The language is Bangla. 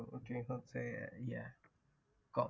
ঐদিন ঘুরতে যায় কম